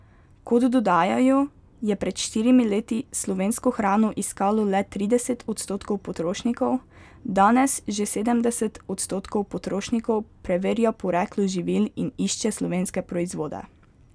Kot dodajajo, je pred štirimi leti slovensko hrano iskalo le trideset odstotkov potrošnikov, danes že sedemdeset odstotkov potrošnikov preverja poreklo živil in išče slovenske proizvode.